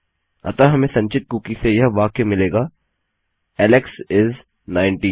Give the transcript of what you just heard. अतः हमें संचित कुकी से यह वाक्य मिलेगा Alex इस 19